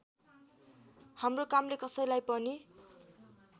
हाम्रो कामले कसैलाई पनि